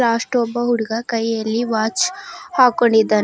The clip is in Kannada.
ಲಾಸ್ಟ ಒಬ್ಬ ಹುಡುಗ ಕೈಯಲ್ಲಿ ವಾಚ್ ಹಾಕೊಂಡಿದಾನೆ.